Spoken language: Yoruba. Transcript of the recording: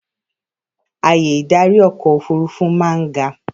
Ààyè ìdarí ọkọ̀ òfurufú máa ń ga.